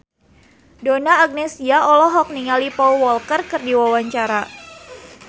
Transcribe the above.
Donna Agnesia olohok ningali Paul Walker keur diwawancara